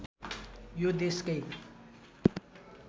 यो देशकै